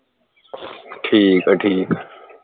ਠੀਕ ਆ ਠੀਕ